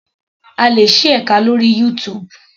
A lè ṣí ẹka lórí YouTube.